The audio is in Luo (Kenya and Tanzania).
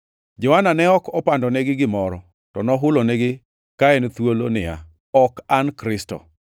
Johana ne ok opandonegi gimoro, to nohulonigi ka en thuolo niya, “Ok an Kristo.”